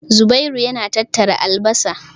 Zubairu yana tattara albasar.